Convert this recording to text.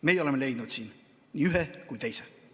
Meie oleme leidnud siin nii ühe kui ka teise.